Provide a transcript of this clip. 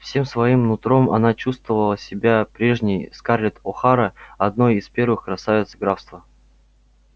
всем своим нутром она чувствовала себя прежней скарлетт охара одной из первых красавиц графства